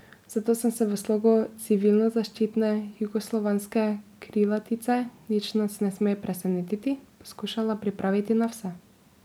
Zato sem se v slogu civilnozaščitne jugoslovanske krilatice Nič nas ne sme presenetiti poskušala pripraviti na vse.